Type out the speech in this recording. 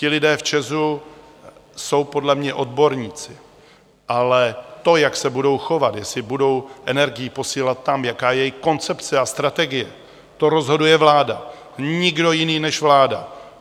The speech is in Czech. Ti lidé v ČEZ jsou podle mě odborníci, ale to, jak se budou chovat, jestli budou energii posílat tam, jaká je jejich koncepce a strategie, to rozhoduje vláda, nikdo jiný než vláda.